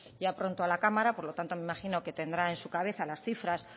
ya pronto a la cámara por lo tanto me imagino que tendrá en su cabeza las cifras